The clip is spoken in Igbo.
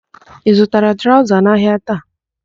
Ị zutara traụza n'ahịa taa?